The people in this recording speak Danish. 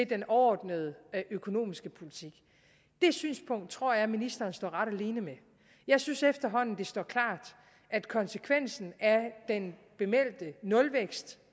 den overordnede økonomiske politik det synspunkt tror jeg ministeren står ret alene med jeg synes efterhånden at det står klart at konsekvensen af den bemeldte nulvækst